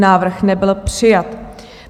Návrh nebyl přijat.